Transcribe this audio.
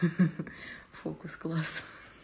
ха-ха фокус класс